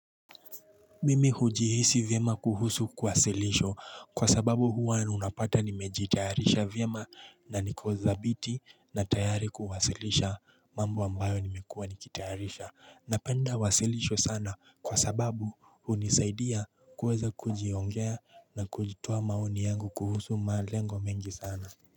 Mimi hujihisi vyema kuhusu kuwasilisho kwa sababu huwa nunapata nimejitayarisha vyema na niko dhabiti na tayari kuwasilisha mambo ambayo nimekua nikitayarisha Napenda wasilisho sana kwa sababu hunisaidia kuweza kujiongea na kujitoa maoni yangu kuhusu malengo mengi sana.